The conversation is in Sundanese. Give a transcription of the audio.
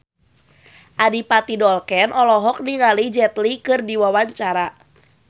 Adipati Dolken olohok ningali Jet Li keur diwawancara